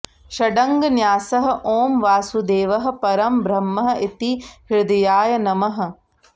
षडङ्गन्यासः ॐ वासुदेवः परं ब्रह्म इति हृदयाय नमः